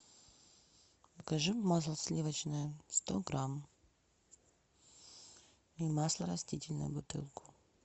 закажи масло сливочное сто грамм и масло растительное бутылку